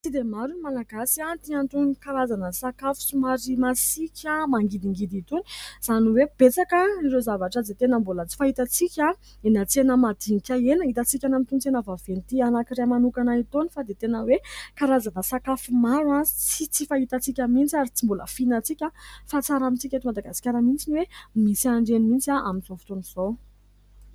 Tsy dia maro ny Malagasy tia an'itony karazana sakafo somary masiakamangidingidy itony .Izany hoe betsaka ireo zavatra izay tena mbola tsy fahitantsika eny an-tsena madinka eny .Hitantsika eny amin'itony tsena vaventy anankiray manokana itony fa dia tena hoe karazana sakafo maro sy tsy fahitantsika mihintsy ary tsy mbola fihinantsika , fa tsara amintsika eto Madagasikara mihintsy ny hoe misy an'ireny mihintsy amin'izao fotoan'izao.